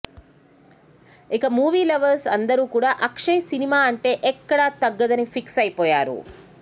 ఇక movie lovers అందరూ కూడా అక్షయ్ సినిమా అంటే ఎక్కడా తగ్గదని ఫిక్స్ అయిపోయారు